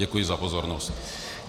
Děkuji za pozornost.